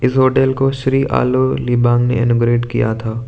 इस होटल को श्री आलो लीबांग ने किया था।